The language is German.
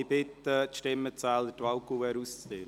Ich bitte die Stimmenzähler, die Wahlkuverts auszuteilen.